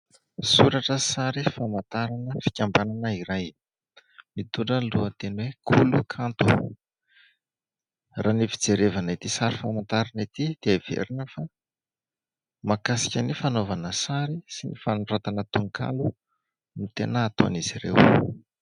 Soratra sy sary famantarana fikambanana iray. Mitondra ny lohateny hoe kolo kanto. Raha ny fijerevana ity sary famantarana ity dia heverina fa mahakasika ny fanaovana sary sy ny fanoratana tononkalo no tena ataon'izy ireo.